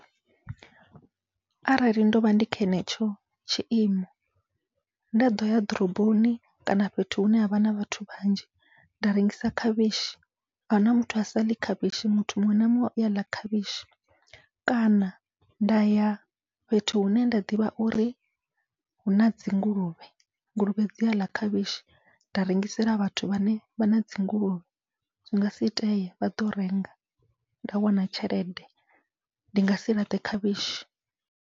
Arali ndovha ndi kho henetsho tshiimo nda ḓoya ḓoroboni kana fhethu hune havha na vhathu vhanzhi nda rengisa khavhishi ahuna muthu a saḽi khavhishi muthu muṅwe na muṅwe u yaḽa khavhishi, kana nda ya fhethu hune nda ḓivha uri huna dzinguluvhe nguluvhe dzi aḽa khavhishi nda rengisela vhathu vhane vha na dzinguluvhe, zwi ngasi itee vhaḓo renga nda wana tshelede ndi ngasi laṱe khavhishi.